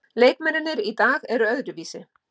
Leikmennirnir í dag eru öðruvísi.